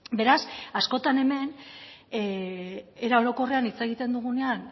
beraz askotan hemen era orokorrean hitz egiten dugunean